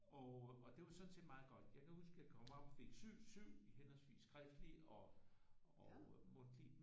Og og det var sådan set meget godt jeg kan huske jeg kom op fik 7 7 i henholdsvis skriftlig og mundtlig